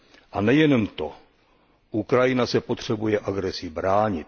A nejenom to, Ukrajina se potřebuje agresi bránit.